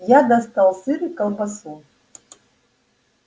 я достал сыр и колбасу